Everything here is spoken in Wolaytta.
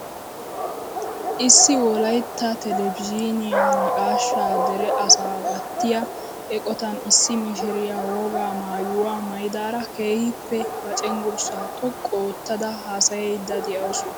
Issi wolaytta telebizhiniyaan naqashshaa dere asa gattiyaa eqotan issi mishiriyaa wogaa maayuwaa maayidara keehippe ba cengurssaa xoqqu oottada hasayayidda de'awus!